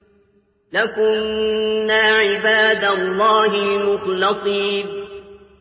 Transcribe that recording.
لَكُنَّا عِبَادَ اللَّهِ الْمُخْلَصِينَ